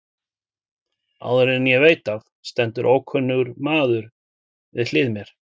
Áður en ég veit af stendur ókunnur maður við hlið mér.